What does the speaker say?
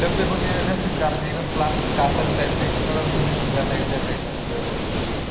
डब्बे नसतात का एकदम glasses काचा बिचा सगळं view दिसतो ह्या side त्या side सगळं total